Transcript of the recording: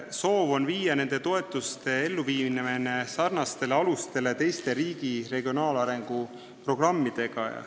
Soov on viia need toetused sarnastele alustele, nagu on teistel riigi regionaalarengu programmidel.